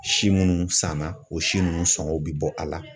Si munnu sanna o si nunnu sɔngɔw be bɔ a la.